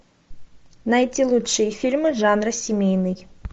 найти лучшие фильмы жанра семейный